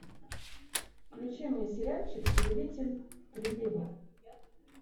включи мне сериальчик повелитель приливов